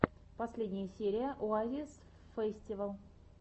последняя серия оазисфэстивал